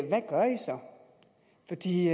de